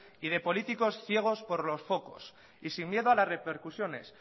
y de políticos ciegos por los focos y sin miedo a las repercusiones